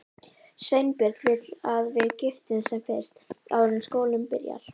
Sveinbjörn vill að við giftumst sem fyrst, áður en skólinn byrjar.